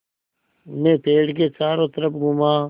मैं पेड़ के चारों तरफ़ घूमा